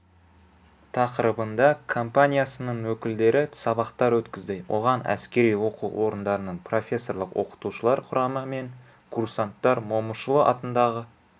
тақырыбында компаниясының өкілдері сабақтар өткізді оған әскери оқу орындарының профессорлық-оқытушылар құрамы мен курсанттар момышұлы атындағы